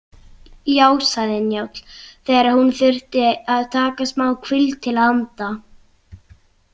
Já, sagði Njáll þegar hún þurfti að taka smáhvíld til að anda.